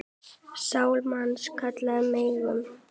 Sál manns kalla megum.